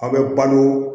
An bɛ balo